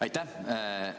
Aitäh!